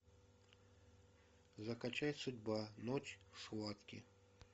закачай судьба ночь схватки